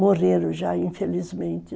Morreram já, infelizmente.